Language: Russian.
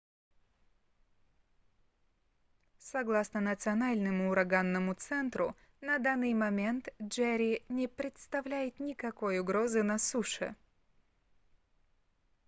согласно национальному ураганному центру на данный момент джерри не представляет никакой угрозы на суше